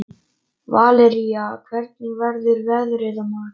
Valería, hvernig verður veðrið á morgun?